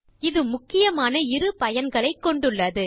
இது முக்கியமான இரு பயன்களைக் கொண்டுள்ளது